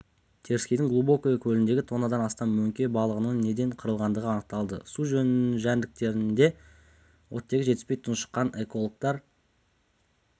теріскейдің глубокое көліндегі тоннадан астам мөңке балығының неден қырылғандығы анықталды су жәндіктеріне оттегі жетіспей тұншыққан экологтар